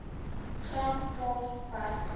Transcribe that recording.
gram plaas werker